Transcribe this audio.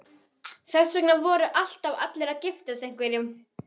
Þess vegna voru alltaf allir að giftast einhverjum.